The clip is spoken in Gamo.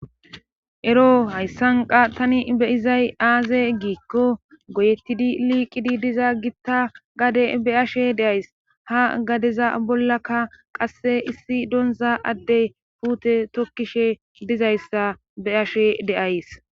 ero hayssanqa tani beyizay aaze giikko goyettidi liiqidi diza gitta gade be ashe deays ha gadeza bollaka qasse issi doonza addey puute tokkishe dizayssa be ashe deays